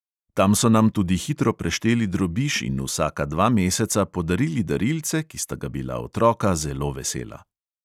Tam so nam tudi hitro prešteli drobiž in vsaka dva meseca podarili darilce, ki sta ga bila otroka zelo vesela.